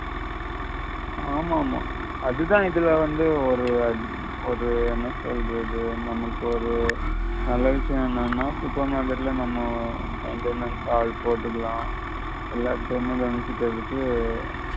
ஆமாமா அதுதான் இதுல வந்து ஒரு அது ஒரு என்ன சொல்றது நமக்கு ஒரு நல்ல விஷயம் என்னான்னா supermarket ல நம்ம maintainer ஆள் போட்டுக்கலாம் எல்லாத்தேமே கவனிச்சிகரதுக்கு